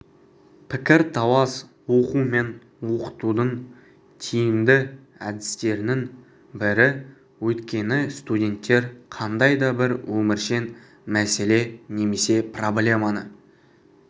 пікірталас оқу мен оқытудың тиімді әдістерінің бірі өйткені студенттер қандай да бір өміршең мәселе немесе проблеманы